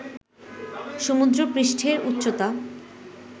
সমুদ্র পৃষ্ঠের উচ্চতা